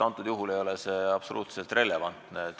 Praegusel juhul ei ole see absoluutselt relevantne.